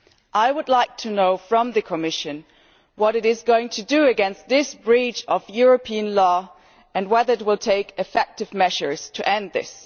I would like to know from the Commission what it is going to do against this breach of European law, and whether it will take effective measures to end this.